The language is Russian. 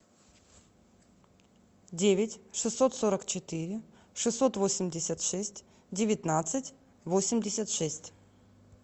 девять шестьсот сорок четыре шестьсот восемьдесят шесть девятнадцать восемьдесят шесть